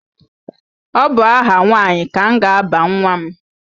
Ọ bụ aha nwaanyị ka m ga-aba nwa m.